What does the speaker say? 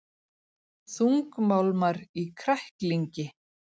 Þungmálmar í kræklingi